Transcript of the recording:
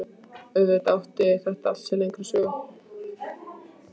Auðvitað átti þetta allt sér lengri sögu.